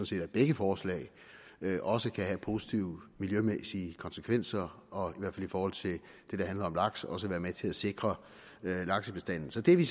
set at begge forslag også kan have positive miljømæssige konsekvenser og hvert fald i forhold til det der handler om laks også være med til at sikre laksebestanden så det er vi